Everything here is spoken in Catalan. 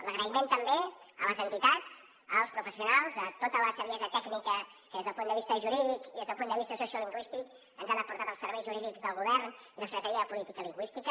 l’agraïment també a les entitats als professionals a tota la saviesa tècnica que des del punt de vista jurídic i des del punt de vista sociolingüístic ens han aportat els serveis jurídics del govern i la secretaria de política lingüística